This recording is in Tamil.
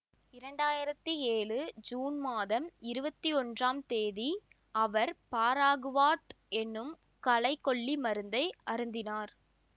இரண்டு ஆயிரத்தி ஏழு ஜூன் மாதம் இருபத்தி ஒன்றாம் தேதி அவர் பாராகுவாட் எனும் களைக் கொல்லி மருந்தை அருந்தினார்